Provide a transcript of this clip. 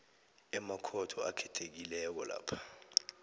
emakhotho akhethekileko lapho